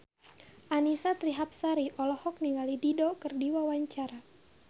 Annisa Trihapsari olohok ningali Dido keur diwawancara